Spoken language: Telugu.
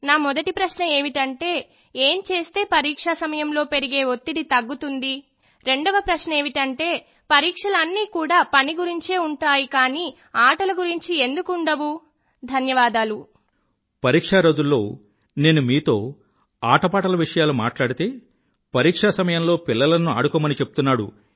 నా మొదటి ప్రశ్న ఏమిటంటే ఏం చేస్తే పరీక్షా సమయంలో పెరిగే వత్తిడి తగ్గుతుంది రెండవ ప్రశ్న ఏమిటంటే పరీక్షలన్నీ కూడా విషయం పని గురించే ఉంటాయి కానీ ఆటల గురించి ఎందుకు ఉండవు ధన్యవాదాలు పరీక్షా రోజుల్లో నేను మీతో ఆటపాటల విషయాలు మాట్లాడితే పరీక్షా సమయంలో పిల్లలను ఆడుకొమ్మని చెప్తున్నాడు